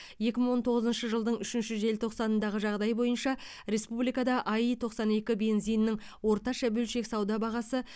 екі мың он тоғызыншы жылдың үшінші желтоқсанындағы жағдай бойынша республикада аи тоқсан екі бензинінің орташа бөлшек сауда бағасы